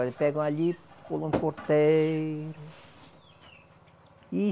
Eles pegam ali, pulam por terra e